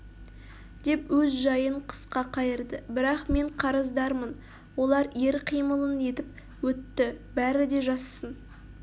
деп өз жайын қысқа қайырды бірақ мен қарыздармын олар ер қимылын етіп өтті бәрі де жазсын